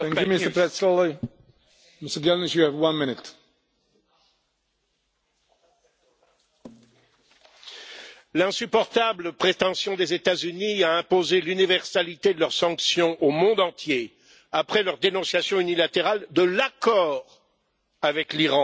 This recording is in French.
Monsieur le Président, l'insupportable prétention des États Unis à imposer l'universalité de leurs sanctions au monde entier, après leur dénonciation unilatérale de l'accord avec l'Iran, est totalement inacceptable.